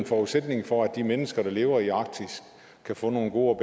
forudsætningen for at de mennesker der lever i arktis kan få nogle gode